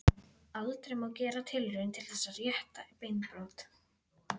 Aldrei má gera tilraun til þess að rétta beinbrot.